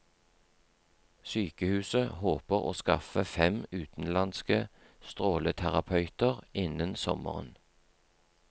Sykehuset håper å skaffe fem utenlandske stråleterapeuter innen sommeren.